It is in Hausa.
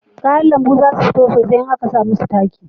Kayan lambu za su fito sosai in a ka samu su taki